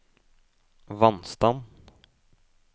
vannstand